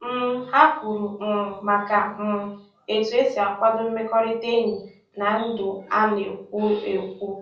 um Ha kwuru um maka um e tu esi a kwado mmekọrịta enyi na ndụ a na-ekwo ekwo